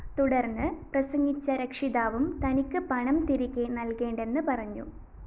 തുടര്‍ന്ന് പ്രസംഗിച്ച രക്ഷിതാവും തനിക്ക് പണം തിരികെ നല്‍കേണ്ടെന്ന് പറഞ്ഞു